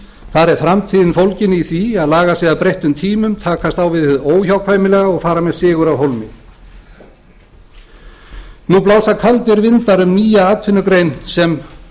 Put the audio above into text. þar er framtíðin fólgin í því að laga sig að breyttum tímum takast á við hið óhjákvæmilega og fara með sigur af hólmi nú blása kaldir vindar um nýja atvinnugrein sem